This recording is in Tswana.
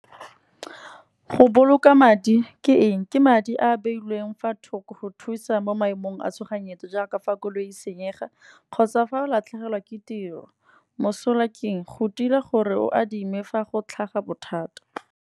Go boloka madi ke eng, ke madi a beilweng fa thoko go thusa mo maemong a tshoganyetso. Jaaka fa koloi senyega kgotsa fa o latlhegelwa ke tiro. Mosola ke eng, go dira gore o adime fa go tlhaga bothata.